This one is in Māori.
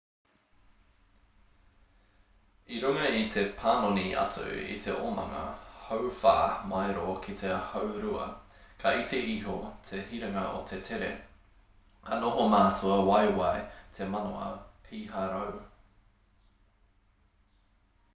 i runga i te panoni atu i te omanga hauwhā maero ki te haurua ka iti iho te hiranga o te tere ka noho mātua waiwai te manawa piharau